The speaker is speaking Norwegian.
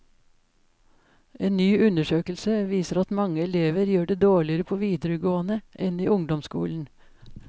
En ny undersøkelse viser at mange elever gjør det dårligere på videregående enn i ungdomsskolen.